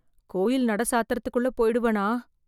கோயில் நட சாத்தறதுக்குள்ள போயிடுவனா?